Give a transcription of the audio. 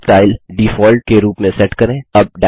next style default के रूप में सेट करें